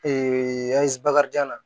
bakarijan na